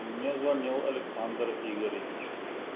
мне звонил александр игоревич